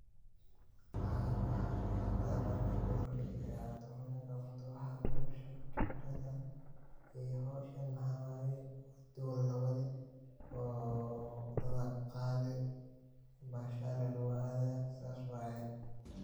Maxan ka hasusta marki ugu horeysay ee aad howsahn qabto waa doni la wadayoo oo dadha ku qadii oo bashale lagu aadayo asa waye.